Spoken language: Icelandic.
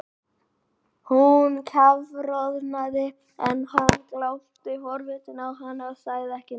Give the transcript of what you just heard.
Hún kafroðnaði en hann glápti forvitinn á hana og sagði ekki neitt.